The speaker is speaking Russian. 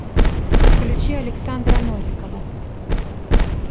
включи александра новикова